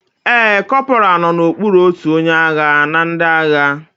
Ee, corporal nọ n'okpuru otu onye agha na ndị agha